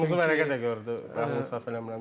Qırmızı vərəqə də gördü Bəhlul səhv eləmirəmsə.